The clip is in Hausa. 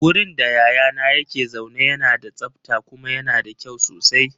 Wurin da yayana yake zaune yana da tsabta kuma yana da kyau sosai.